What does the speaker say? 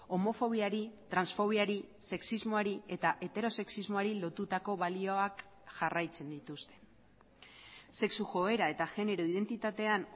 homofobiari transfobiari sexismoari eta heterosexismoari lotutako balioak jarraitzen dituzte sexu joera eta genero identitatean